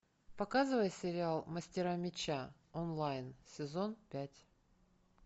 показывай сериал мастера меча онлайн сезон пять